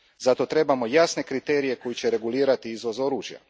Zato trebamo jasne kriterije koji će regulirati izvoz oružja.